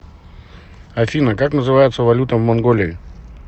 афина как называется валюта в монголии